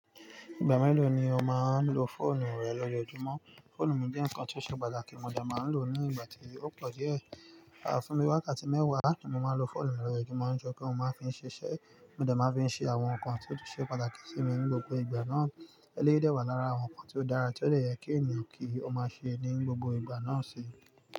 Ìgbà mélòó ni o máa ń lo fóònù rẹ lójojúmọ́? Fóònù mi jẹ́ nǹkan tó ṣe pàtàkì, mo dẹ̀ máa ń lò ó ní ìgbà tí ó pọ̀ díẹ̀. À fún bì wákatí mẹ́wàá ní mo máa ń lo fóònù lórí ojúmọ́ nítorí pé mo máa ń fi ṣiṣẹ́, mo dẹ̀ máa ń fi ṣe àwọn nǹkan tí ó ṣe pàtàkì sí mi ní gbogbo ìgbà náà. Eléyìí dẹ́ wàá lára àwọn nǹkan tí ó dára tí ó dẹ̀ yẹ kí ènìyàn kí ó máa ṣe ní gbogbo ìgbà náà sì.